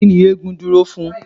Kí ni eégún dúró fún?